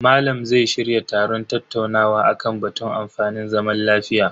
Malam zai shirya taron tattaunawa akan batun amfanin zaman lafiya.